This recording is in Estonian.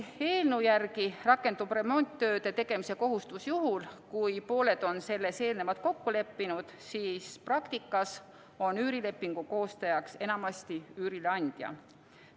Eelnõu järgi rakendub remonditööde tegemise kohustus küll vaid juhul, kui pooled on selles eelnevalt kokku leppinud, aga praktikas on üürilepingu koostajaks enamasti üürileandja.